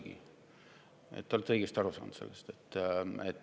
Te olete sellest õigesti aru saanud.